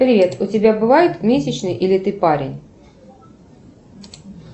привет у тебя бывают месячные или ты парень